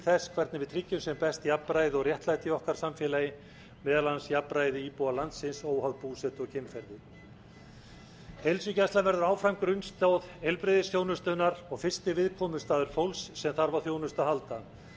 þess hvernig við tryggjum á best jafnræði og réttlæti í okkar samfélagi meðal annars jafnræði íbúa landsins óháð búsetu og kynferði heilsugæslan verður áfram grunnstoð heilbrigðisþjónustunnar og fyrsti viðkomustaður fólks sem þarf á þjónustu að halda því er reynt